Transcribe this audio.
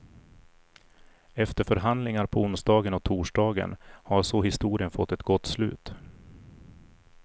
Efter förhandlingar på onsdagen och torsdagen har så historien fått ett gott slut.